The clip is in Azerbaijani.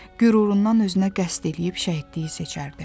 Qürurundan özünə qəsd eləyib şəhidliyi seçərdi.